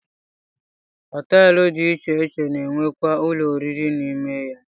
Họteelụ dị iche iche na-enwekwa ụlọoriri n'ime ya